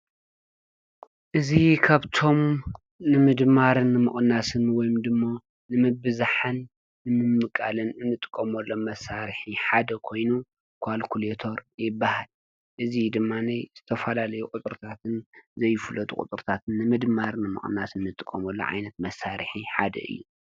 እዚ ካብቶም ንምድማርን ንምቅናስን ወይ ድማ ንምብዛሕን ንምምቃልን እንጥቀመሎም መሳርሒ ሓደ ኮይኑ ኳልኩሌተር ይበሃል እዙይ ድማ ዝተፈላለዩ ቁፅርታትን ዘይፍለጡ ቁፅርታትን ንምድማር ንምቅናስ እንጥቀመሉ ዓይነት መሳርሒ ሓደ እዩ ።